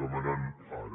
demanant ara